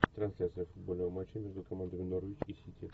трансляция футбольного матча между командами норвич и сити